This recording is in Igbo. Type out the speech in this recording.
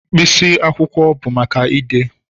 Mkpịsị akwụkwọ bụ maka ide.